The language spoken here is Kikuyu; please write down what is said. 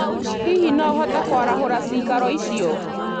Hihi no ũhote kwarahũra maikaro macio?